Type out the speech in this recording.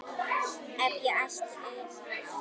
Ef ég ætti eina ósk.